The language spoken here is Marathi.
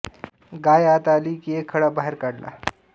गाय आत आली कि एक खडा बाहेर काढला